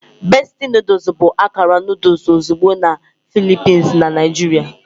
Bestie noodles bụ akara noodle ozugbo na Philippines na Naijiria.